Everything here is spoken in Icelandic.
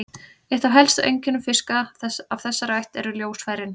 Eitt af helstu einkennum fiska af þessari ætt eru ljósfærin.